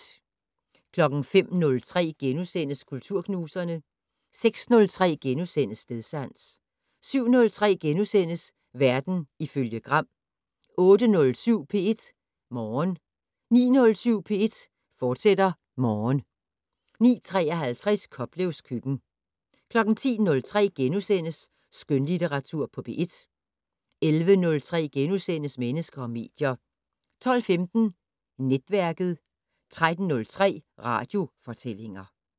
05:03: Kulturknuserne * 06:03: Stedsans * 07:03: Verden ifølge Gram * 08:07: P1 Morgen 09:07: P1 Morgen, fortsat 09:53: Koplevs køkken 10:03: Skønlitteratur på P1 * 11:03: Mennesker og medier * 12:15: Netværket 13:03: Radiofortællinger